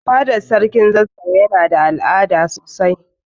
Fada na sarkin zazzau Yana da al'ada sosai.